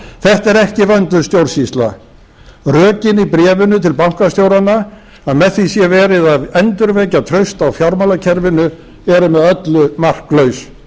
þetta er ekki vönduð stjórnsýsla rökin í bréfinu til bankastjóranna að með því sé verið að endurvekja traust á fjármálakerfinu eru með öllu marklaus